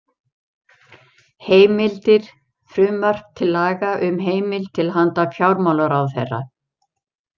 Heimildir Frumvarp til laga um heimild til handa fjármálaráðherra.